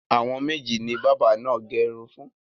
Àwọn méjì ni bábà náà gẹ irun fún.